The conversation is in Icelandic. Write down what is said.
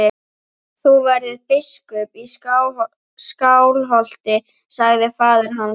Þú verður biskup í Skálholti, sagði faðir hans.